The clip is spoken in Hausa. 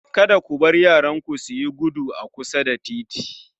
Kada ku bar yaranku suyi gudu a kusa da titi